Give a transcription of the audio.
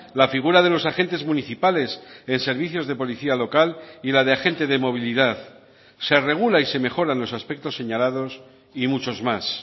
la figura de los agentes municipales en servicios de policía local y la de agente de movilidad se regula y se mejoran los aspectos señalados y muchos más